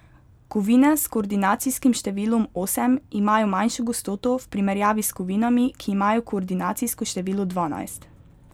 Kovine s koordinacijskim številom osem imajo manjšo gostoto v primerjavi s kovinami, ki imajo koordinacijsko število dvanajst.